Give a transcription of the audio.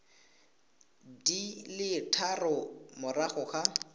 di le tharo morago ga